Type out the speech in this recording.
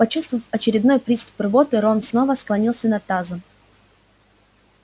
почувствовав очередной приступ рвоты рон снова склонился над тазом